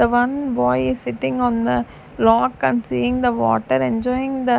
one boy is sitting on the rock and seeing the water enjoying the --